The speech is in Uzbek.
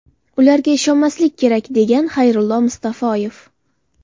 Ularga ishonmaslik kerak”, – degan Xayrulla Mustafoyev.